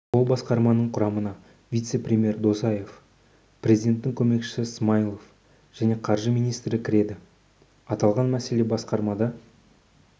ол басқарманың құрамына вице-премьер досаев президенттің көмекшісі смайылов және қаржы министрі кіреді аталған мәселе басқармада